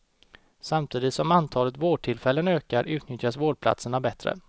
Samtidigt som antalet vårdtillfällen ökar, utnyttjas vårdplatserna bättre.